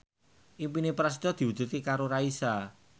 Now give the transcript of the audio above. impine Prasetyo diwujudke karo Raisa